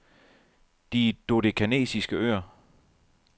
De Dodekanesiske Øer